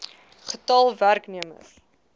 getal los werknemers